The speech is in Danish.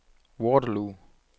Waterloo